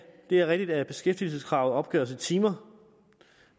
det er rigtigt at beskæftigelseskravet opgøres i timer